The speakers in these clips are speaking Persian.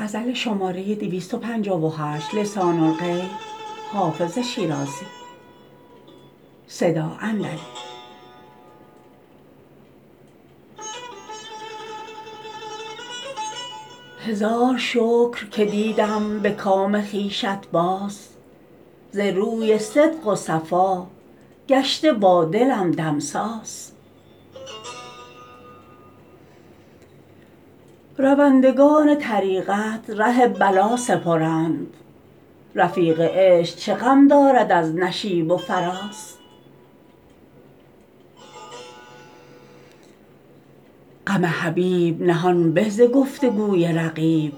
هزار شکر که دیدم به کام خویشت باز ز روی صدق و صفا گشته با دلم دمساز روندگان طریقت ره بلا سپرند رفیق عشق چه غم دارد از نشیب و فراز غم حبیب نهان به ز گفت و گوی رقیب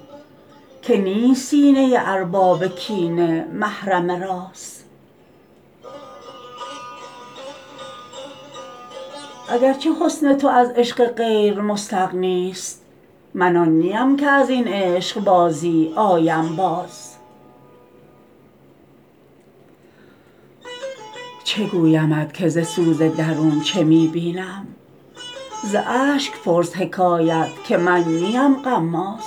که نیست سینه ارباب کینه محرم راز اگر چه حسن تو از عشق غیر مستغنی ست من آن نیم که از این عشق بازی آیم باز چه گویمت که ز سوز درون چه می بینم ز اشک پرس حکایت که من نیم غماز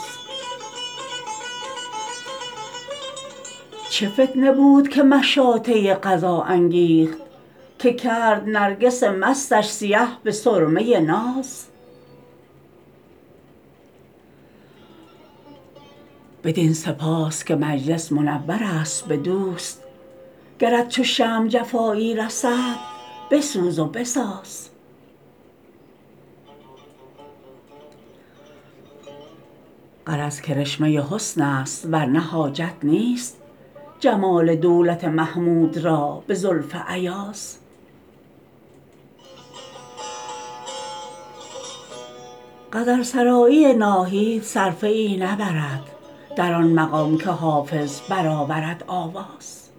چه فتنه بود که مشاطه قضا انگیخت که کرد نرگس مستش سیه به سرمه ناز بدین سپاس که مجلس منور است به دوست گرت چو شمع جفایی رسد بسوز و بساز غرض کرشمه حسن است ور نه حاجت نیست جمال دولت محمود را به زلف ایاز غزل سرایی ناهید صرفه ای نبرد در آن مقام که حافظ برآورد آواز